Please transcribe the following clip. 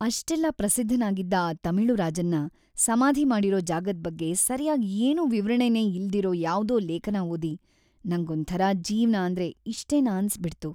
ಅಷ್ಟೆಲ್ಲ ಪ್ರಸಿದ್ಧನಾಗಿದ್ದ ಆ ತಮಿಳು ರಾಜನ್ನ ಸಮಾಧಿ ಮಾಡಿರೋ ಜಾಗದ್ ಬಗ್ಗೆ ಸರ್ಯಾಗ್ ಏನೂ ವಿವರಣೆನೇ ಇಲ್ದಿರೋ ಯಾವ್ದೋ ಲೇಖನ ಓದಿ ನಂಗೊಂಥರ ಜೀವ್ನ ಅಂದ್ರೆ ಇಷ್ಟೇನಾ ಅನ್ಸ್‌ಬಿಡ್ತು.